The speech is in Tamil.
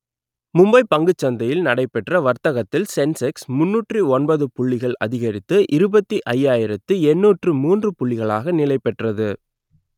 மும்பை பங்குச் சந்தையில் நடைபெற்ற வர்த்தகத்தில் சென்செக்ஸ் முன்னூற்று ஒன்பது புள்ளிகள் அதிகரித்து இருபத்தி ஐயாயிரத்து எண்ணூற்று மூன்று புள்ளிகளாக நிலைபெற்றது